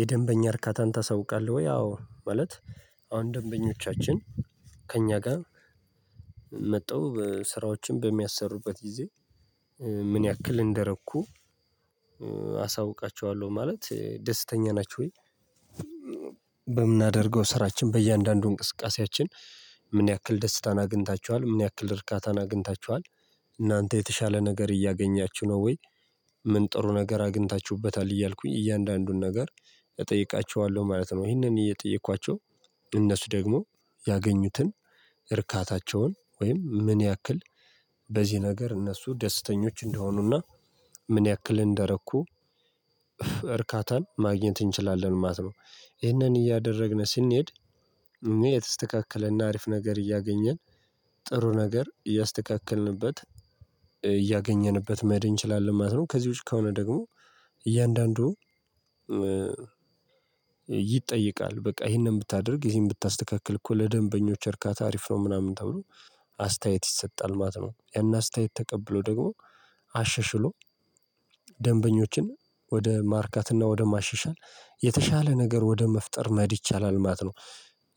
የደንበኛ እርካታን ታሳውቃለህ ወይ? አዎ ማለት አሁን ደንበኞቻችን ከእኛ ጋር መተው ስራዎችን በሚያሰሩበት ጊዜ ምን ያክል እንደረኩ አሳውቃቸዋለሁ ማለት ደስተኛ ናችሁ ወይ? በምናደርገው ስራችን በእያንዳንዱ እንቅስቃሴያችን ምን ያክል ደስታን አግኝታችኋል? ምን ያክል እርካታን አግኝታችኋል? እናንተ የተሻለ ነገር እያገኛችሁ ነው ወይ? ምን ጥሩ ነገር አግኝታችሁበታል እያልኩኝ እያንዳንዱን ነገር እጠይቃቸዋለሁ ማለት ነው ይህንን እየጠየኳቸው እነሱ ደግሞ ያገኙትን እርካታቸውን ወይም ምን ያክል በዚህ ነገር እነሱ ደስተኞች እንደሆኑና ምን ያክል እንደረኩ እርካታን ማግኘት እንችላለን ማለት ነው ይሄንን እያደረግን ስንሄድ እኛ የተስተካከለና አሪፍ ነገር እያገኘን ጥሩ ነገር እያስተካከልንበት እያገኘንበት መሄድ እንችላለን ማለት ነው ከዚህ ውጪ ከሆነ ደግሞ እያንዳንዱ ይጠይቃል በቃ ይሄንን ብታደርግ ይሄንን ብታስተካክል እኮ ለደንበኞች እርካታ አሪፍ ነው ምናምን ተብሎ አስተያየት ይሰጣል ማለት ነው ያን አስተያየት ተቀብሎ ደግሞ አሸሽሎ ደንበኞችን ወደ ማርካትና ወደ ማሸሻል የተሻለ ነገር ወደ መፍጠር መሄድ ይቻላል ማት ነው